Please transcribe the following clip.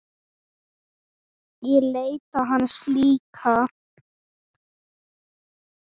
Ég leita hans líka.